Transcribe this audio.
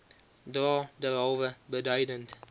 dra derhalwe beduidend